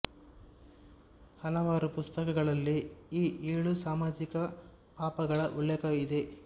ಹಲವಾರು ಪುಸ್ತಕಗಳಲ್ಲಿ ಈ ಏಳು ಸಾಮಾಜಿಕ ಪಾಪಗಳ ಉಲ್ಲೇಖ ಇದೆ